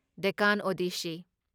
Deccan ꯑꯣꯗꯦꯁꯁꯤ